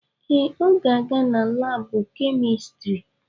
Ee, ọ ga-aga na laabụ kemịstrị.